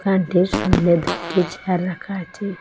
দোকানটির সামনে দুটি চেয়ার রাখা আচে।